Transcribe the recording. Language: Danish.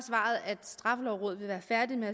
at straffelovrådet vil være færdig med